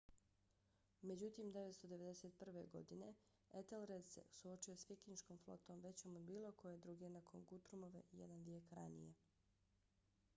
međutim 991. godine etelred se suočio s vikinškom flotom većom od bilo koje druge nakon gutrumove jedan vijek ranije